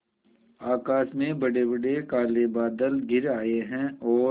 आकाश में बड़ेबड़े काले बादल घिर आए हैं और